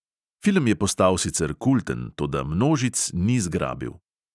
Film je postal sicer kulten, toda množic ni zgrabil.